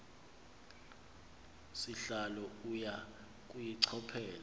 sihlalo uya kuyichophela